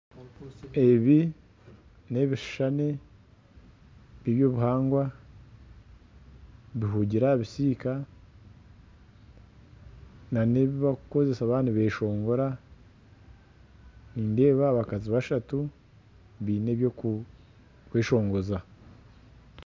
Ebi ni ebishushane eby'obuhangwa bihugiire aha bisika nana ebi barikukozesa baaba nibeshongora nindeeba abakazi bashatu baine ebyokweshongoza.